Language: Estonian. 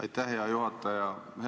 Aitäh, hea juhataja!